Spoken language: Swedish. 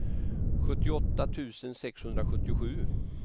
sjuttioåtta tusen sexhundrasjuttiosju